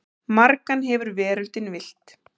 Margan hefur veröldin villt.